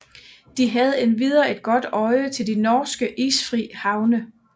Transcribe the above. De havde endvidere et godt øje til de norske isfri havne